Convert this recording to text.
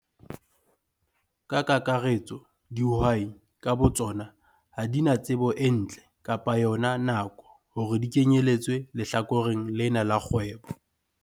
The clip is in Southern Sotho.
Ka kakaretso dihwai ka botsona ha di na tsebo e ntle kapa yona nako hore di kenyeletswe lehlakoreng lena la kgwebo.